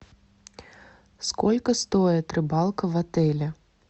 сколько стоит рыбалка в отеле